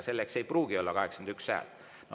Selleks võib olla vaja 81 häält, aga ei pruugi.